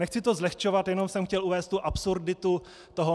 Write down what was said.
Nechci to zlehčovat, jenom jsem chtěl uvést tu absurditu toho.